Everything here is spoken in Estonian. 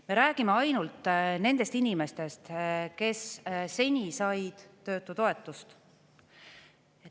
Me räägime ainult nendest inimestest, kes seni said töötutoetust.